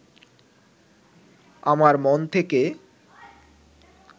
আমার মন থেকে